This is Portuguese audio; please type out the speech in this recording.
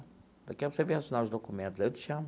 Daqui a pouco você vem assinar os documentos, aí eu te chamo.